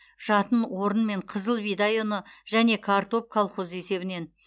жатын орын мен қызыл бидай ұны және картоп колхоз есебінен